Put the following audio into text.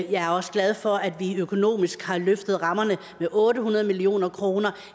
er også glad for at vi økonomisk har løftet rammerne med otte hundrede million kroner